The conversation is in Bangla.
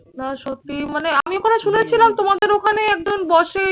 না সত্যিই মানে আমি ওখানে শুনেছিলাম তোমাদের ওখানে একজন বসে